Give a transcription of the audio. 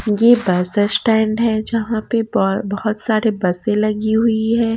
यह bus stand है यहाँ पे बहु बहुत सारे बसें लगी हुई हैं।